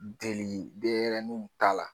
Deli denɲɛrɛninw ta la.